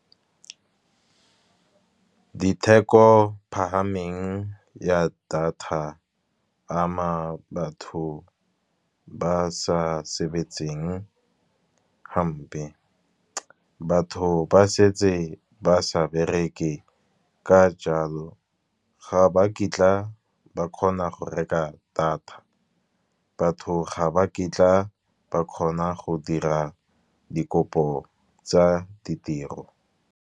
Ditheko phahameng ya data ama batho ba sa sebetseng hampe. Batho ba setse ba sa bereke ka jalo ga ba kitla ba kgona go reka data, batho ga ba kitla ba kgona go dira dikopo tsa ditiro.